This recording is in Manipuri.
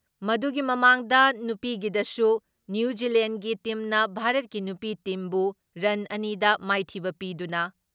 ꯃꯗꯨꯒꯤ ꯃꯃꯥꯥꯡꯗ ꯅꯨꯄꯤꯒꯤꯗꯁꯨ ꯅ꯭ꯌꯨ ꯖꯤꯂꯦꯟꯒꯤ ꯇꯤꯝꯅ ꯚꯥꯔꯠꯀꯤ ꯅꯨꯄꯤ ꯇꯤꯝꯕꯨ ꯔꯟ ꯑꯅꯤ ꯗ ꯃꯥꯏꯊꯤꯕ ꯄꯤꯗꯨꯅ